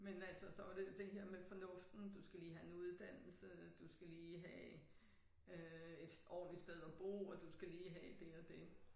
Men altså så var det det her med fornuften du skal lige have en uddannelse du skal lige have øh et ordentligt sted at bo og du skal lige have det og det